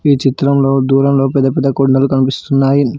ఈ చిత్రంలో దూరంలో పెద్ద పెద్ద కొండలు కనిపిస్తున్నాయి.